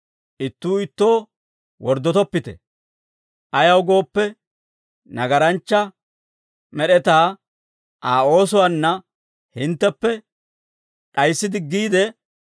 Ittuu ittoo worddotoppite; ayaw gooppe, nagaranchcha med'etaa Aa oosuwaanna hintteppe d'ayissi diggiide,